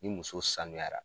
Ni muso saniyara.